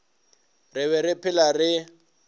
re be re phela re